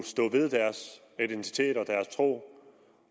stå ved deres etnicitet og deres tro